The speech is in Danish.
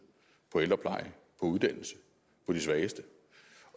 ældrepleje uddannelse og de svageste